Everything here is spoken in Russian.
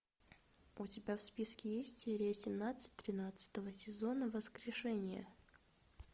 у тебя в списке есть серия семнадцать тринадцатого сезона воскрешение